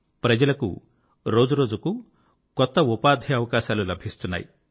ప్రజలకు రోజురోజుకూ కొత్త ఉపాధి అవకాశాలు లభిస్తున్నాయి